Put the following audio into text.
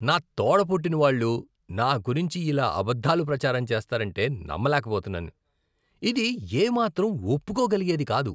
నా తోడ పుట్టినవాళ్ళు నా గురించి ఇలా అబద్ధాలు ప్రచారం చేస్తారంటే నమ్మలేకపోతున్నాను. ఇది ఏ మాత్రం ఒప్పుకోగలిగేది కాదు.